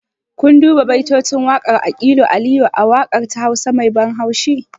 Kun duba baitocin waƙar aƙilu aliyu a waƙarsa ta hausa me ban haushi?